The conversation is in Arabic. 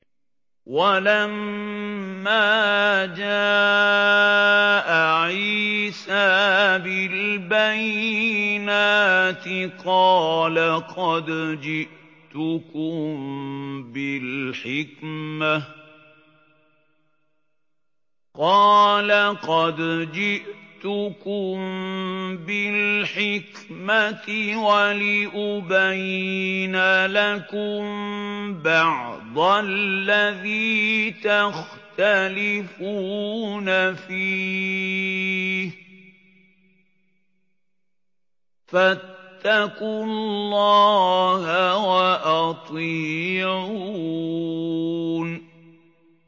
وَلَمَّا جَاءَ عِيسَىٰ بِالْبَيِّنَاتِ قَالَ قَدْ جِئْتُكُم بِالْحِكْمَةِ وَلِأُبَيِّنَ لَكُم بَعْضَ الَّذِي تَخْتَلِفُونَ فِيهِ ۖ فَاتَّقُوا اللَّهَ وَأَطِيعُونِ